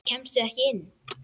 Kemstu ekki inn?